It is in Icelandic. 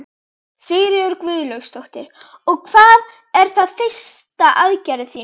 Sigríður Guðlaugsdóttir: Og er það fyrsta aðgerðin þín?